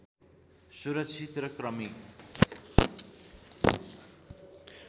सुरक्षित र क्रमिक